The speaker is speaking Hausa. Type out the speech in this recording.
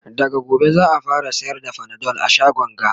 daga gobe za'a fara sayar da Panadol a shagon ga